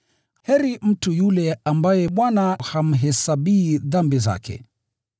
Heri mtu yule Bwana hamhesabii dhambi zake.”